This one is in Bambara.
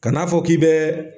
Kan'a fɔ k'i bɛɛ